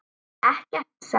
Ekkert, sagði hún.